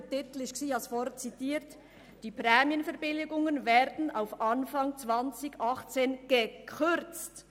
Der Titel lautete: «Prämienverbilligungen werden auf Anfang 2018 gekürzt».